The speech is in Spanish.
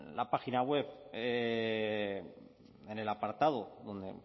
la página web en el apartado donde